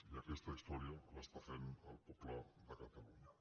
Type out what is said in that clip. i aquesta història l’està fent el poble de catalunya